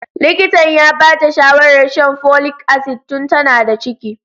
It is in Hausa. Likitan ya ba ta shawarar shan folic acid tun tana da ciki.